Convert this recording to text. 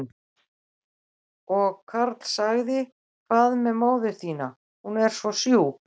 Og Karl sagði, hvað með móður þína, hún er svo sjúk?